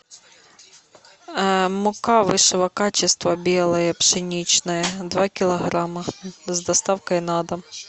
мука высшего качества белая пшеничная два килограмма с доставкой на дом